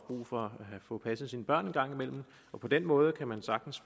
brug for at få passet sine børn en gang imellem på den måde kan man sagtens